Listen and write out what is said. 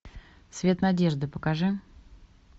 свет надежды покажи